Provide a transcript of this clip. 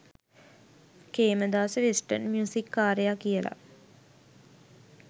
Khemadasa western music කාරයා කියලා.